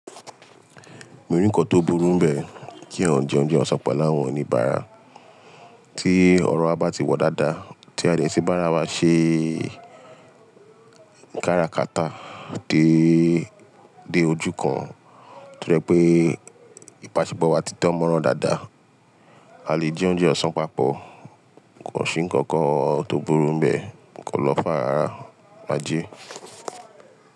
Mi ò ri nkàn tó burú bẹ́ẹ̀ kí èyàn je oúnjẹ ọ̀sán pẹlú áwọn oníbàárà. Tí ọ̀rọ̀ wa bá ti wọ dáadáa, tí a jẹ tí bá ra wá ṣe kára kata dé ojú kan to je pé ìbàṣẹpó wa ti dán mọ́ran dáadáa, a lè jẹ oúnjẹ ọ̀sán papọ̀. Ko ṣí nkankan tó burú bẹ́ẹ̀, kàn lọ́ far ràrá ájè.